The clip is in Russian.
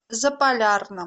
заполярном